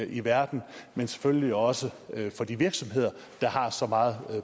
i verden men selvfølgelig også for de virksomheder der har så meget